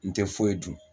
N tɛ foyi dun